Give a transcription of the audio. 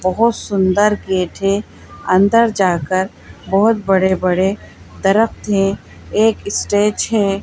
बहोत सुंदर गेट है अंदर जाकर बहोत बड़े-बड़े दरख़्त हैं एक स्टेज है।